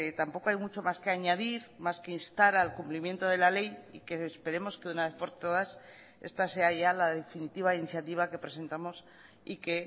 tampoco hay mucho más que añadir más que instar al cumplimiento de la ley y que esperemos que una vez por todas esta sea ya la definitiva iniciativa que presentamos y que